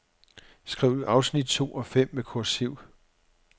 Skriv afsnit to og fem med kursiv.